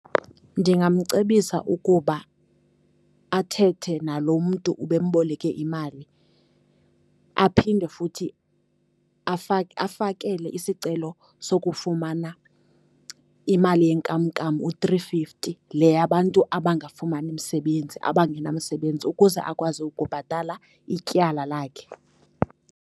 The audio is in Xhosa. Ndingamcebisa ukuba athethe naloo mntu ubemboleke imali aphinde futhi afakele isicelo sokufumana imali yenkamnkam, u-three fifty, le yabantu abangafumani msebenzi, abangenamsebenzi, ukuze akwazi ukubhatala ityala lakhe.